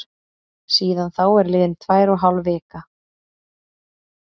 Síðan þá er liðin tvær og hálf vika.